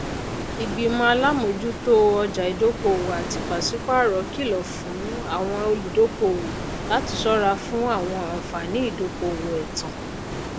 ìgbìmọ alámojútó ọjà ìdókòwò àti pàṣípààrọ kilọ fún àwọn olùdókòwò láti ṣọra fún àwọn àǹfààní ìdókòwò ẹtàn